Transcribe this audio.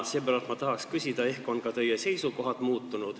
Seepärast ma tahan küsida, ehk on ka teie seisukohad muutunud.